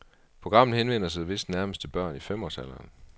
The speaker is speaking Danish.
Programmet henvender sig vist nærmest til børn i femårsalderen.